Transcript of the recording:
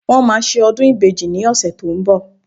Wọ́n máa ṣe ọdún ìbejì ní ọ̀sẹ̀ tó ń bọ̀